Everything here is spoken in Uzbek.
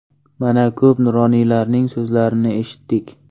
Mana, ko‘p nuroniylarning so‘zlarini eshitdik.